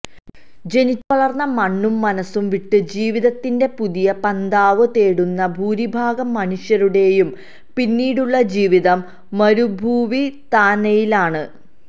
ജനിച്ചു വളർന്ന മണ്ണും മനസ്സും വിട്ട് ജീവിതത്തിന്റെ പുതിയ പന്ഥാവ് തേടുന്ന ഭൂരിഭാഗം മനുഷ്യരുടേയും പിന്നീടുള്ള ജീവിതം മരുഭൂവിതാനതയിലാണ്